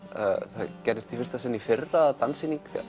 það gerðist í fyrsta sinn í fyrra að danssýning